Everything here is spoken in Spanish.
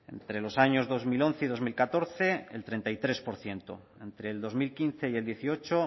entre los años dos mil once y dos mil catorce el treinta y tres por ciento entre el dos mil quince y el dieciocho